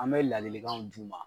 An bɛ ladilikanw d'u ma.